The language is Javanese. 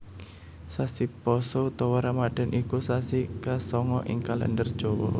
Sasi Pasa utawa Ramadan iku sasi kasanga ing Kalèndher Jawa